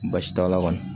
Baasi t'a la kɔni